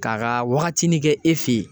K'a ka wagatinin kɛ e fe yen